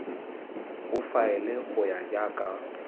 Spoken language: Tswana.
o faele go ya ka